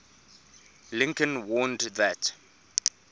lincoln warned that